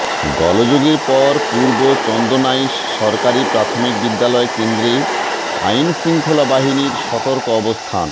গোলযোগের পর পূর্ব চন্দনাইশ সরকারি প্রাথমিক বিদ্যালয় কেন্দ্রে আইনশৃঙ্খলা বাহিনীর সতর্ক অবস্থান